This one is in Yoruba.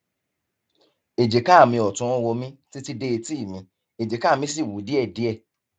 èjìká mi ọtún ń ro mí títí dé etí mi èjìká mi sì wú díẹdíẹ